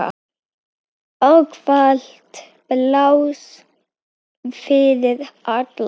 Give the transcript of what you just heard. Ávallt pláss fyrir alla.